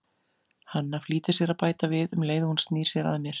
Hanna flýtir sér að bæta við, um leið og hún snýr sér að mér